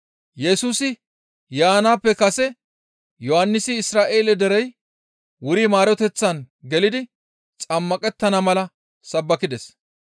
Yesusi yaanaappe kase Yohannisi Isra7eele derey wuri maaroteththan gelidi xammaqettana mala sabbakides.